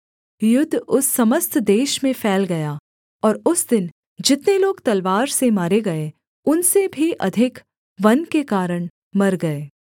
युद्ध उस समस्त देश में फैल गया और उस दिन जितने लोग तलवार से मारे गए उनसे भी अधिक वन के कारण मर गए